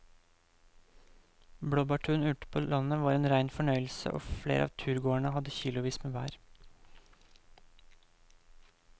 Blåbærturen ute på landet var en rein fornøyelse og flere av turgåerene hadde kilosvis med bær.